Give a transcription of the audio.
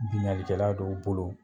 Bingannikɛla dɔw bolo